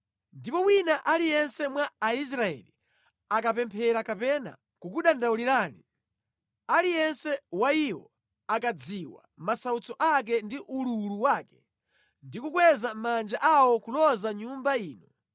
ndipo wina aliyense mwa Aisraeli akapemphera kapena kukudandaulirani, aliyense wa iwo akadziwa masautso ake ndi ululu wake, ndi kukweza manja awo kuloza Nyumba ino,